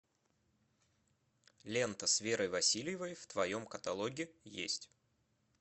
лента с верой васильевой в твоем каталоге есть